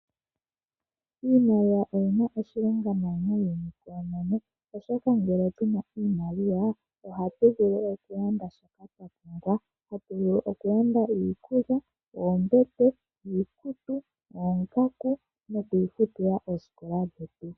Iimaliwa oyina oshilonga nawa muunyuni koonono, oshoka ngele tu na iimaliwa ohatu vulu okulanda shoka twa pumbwa, hatu vulu oku landa: iikulya, oombete, iikutu, oongaku nokwiifutila oosikola dhetu.